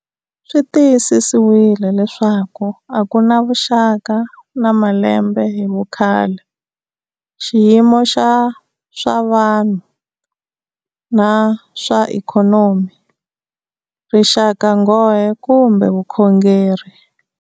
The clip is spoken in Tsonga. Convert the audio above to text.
Swi tiyisisiwile leswaku a ku na vuxaka na malembe hi vukhale, xiyimo xa swa vanhu na swa ikhonomi, rixakanghohe kumbe vukhongeri.